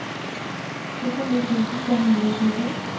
syttini tusen fem hundre og tjueto